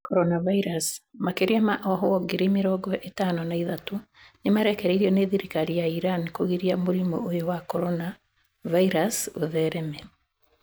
Corona Virus: Makĩria ma ohwo ngiri mĩrongo ĩtano na ithatũ nĩ marekereirio nĩ thirikari ya Iran kũgiria mũrimũ ũyũ wa Corona Virus ũthereme.